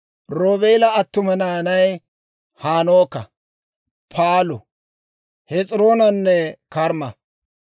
Roobeela attuma naanay Hanooka, Paalu, Hes'iroonanne Karmma.